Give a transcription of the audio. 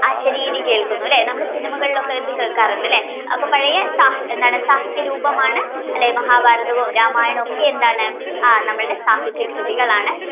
ഒരു അശരീരി കേൾക്കുന്നു ലെ നമ്മൾ cinema കളിലൊക്കെ ഇത് കേൾക്കാറുണ്ടല്ലേ അപ്പൊ പഴയ സാഹ് എന്താണ് സാഹിത്യരൂപമാണ് ലെ മഹാഭാരതവും രാമായണവും ഒക്കെ എന്താണ് സാഹിത്യ കൃതികളാണ്